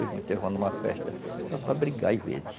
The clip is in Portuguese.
Hoje festa só para brigar, às vezes.